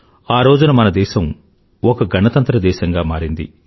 ఆరోజున మన దేశం ఒక గణతంత్ర దేశంగా మారింది